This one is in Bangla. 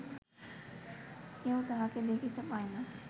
কেহ তাঁহাকে দেখিতে পায় না